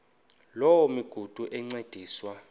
loo migudu encediswa